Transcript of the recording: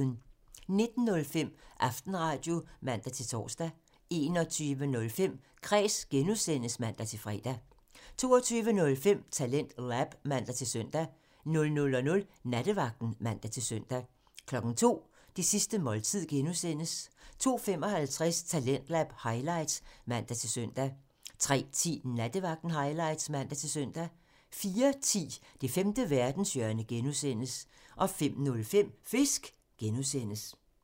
19:05: Aftenradio (man-tor) 21:05: Kræs (G) (man-fre) 22:05: TalentLab (man-søn) 00:00: Nattevagten (man-søn) 02:00: Det sidste måltid (G) 02:55: Talentlab highlights (man-søn) 03:10: Nattevagten highlights (man-søn) 04:10: Det femte verdenshjørne (G) 05:05: Fisk (G)